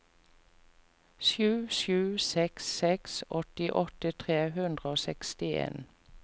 sju sju seks seks åttiåtte tre hundre og sekstien